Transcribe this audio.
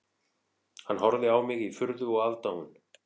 Hann horfði á mig í furðu og aðdáun